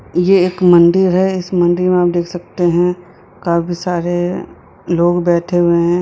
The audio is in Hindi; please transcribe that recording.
ये एक मंदिर है इस मंदिर में आप देख सकते हैं काफी सारे लोग बैठे हुए हैं।